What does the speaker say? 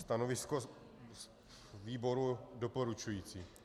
Stanovisko výboru doporučující.